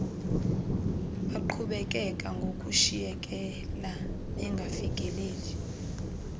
baqhubekeka ngokushiyekela bengafikeleli